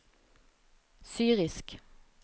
syrisk